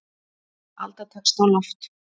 Alda tekst á loft.